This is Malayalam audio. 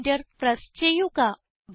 എന്റർ പ്രസ് ചെയ്യുക